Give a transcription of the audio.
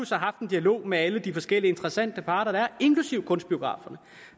så haft en dialog med alle de forskellige interessante parter der er inklusive kunstbiograferne